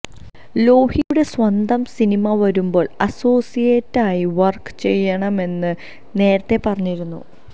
ലോഹിയുടെ സ്വന്തം സിനിമ വരുമ്പോള് അസോസിയേറ്റായി വര്ക്ക് ചെയ്യണമെന്ന് നേരത്തെ പറഞ്ഞിരുന്നു